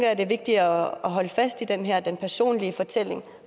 at det er vigtigt at holde fast i den her personlige fortælling